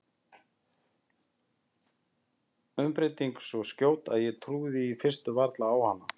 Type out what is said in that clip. Umbreytingin svo skjót að ég trúði í fyrstu varla á hana.